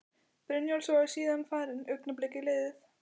Brynjólfs og er síðan farin, augnablikið liðið.